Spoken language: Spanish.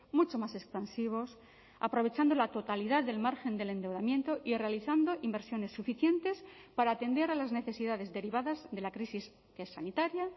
mucho más expansivos aprovechando la totalidad del margen del endeudamiento y realizando inversiones suficientes para atender a las necesidades derivadas de la crisis que es sanitaria